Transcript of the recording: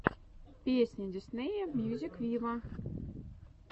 песня диснея мьюзик виво